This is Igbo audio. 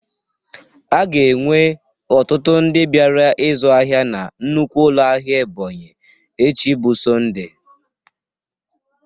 A ga-enwe ọtụtụ ndị bịara ịzụ ahịa na nnukwu ụlọ ahịa Ebonyi echi bụ Sọnde.